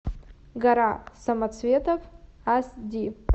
гора самоцветов ас ди